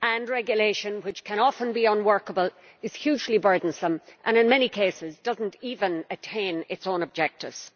Regulation which can often be unworkable is hugely burdensome and, in many cases, does not even attain its own objectives.